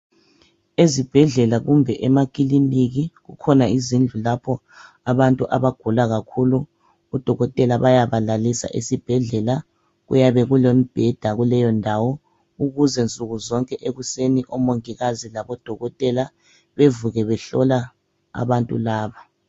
ezibhedlela kumbe ema kiliniki kukhona izindlu lapho abantu abagula kakhulu odokotela bayaba lalisa esibhedlela ,kuyabe kulemibheda kuleyo ndawo ukuze nsuku zonke ekuseni omongikazi labo dokotela bevuke behlola abantu laba